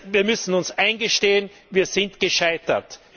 Wir müssen uns eingestehen Wir sind gescheitert.